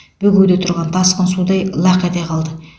бөгеуде тұрған тасқын судай лақ ете қалды